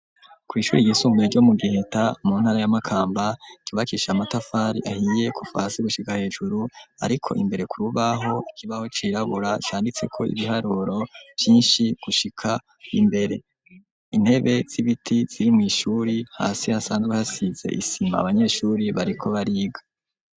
kw'ishure ry'isunbuye ryo mu giheta mu ntara y'amakamba cubakishije amatafari ahiye kuva hasi gushika hejuru, ariko imbere kurubaho ikibaho cirabura canditseko ibiharuro vyinshi gushika imbere, intebe zibiti ziri mw'ishure hasi hasanzwe hasize isima abanyeshure bariko bariga.